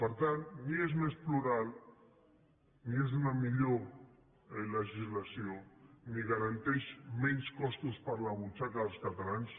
per tant ni és més plural ni és una millor legislació ni garanteix menys costos per a la butxaca dels catalans